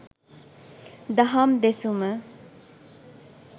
දහම් දෙසුම